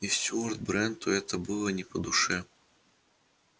и стюарт бренту это было не по душе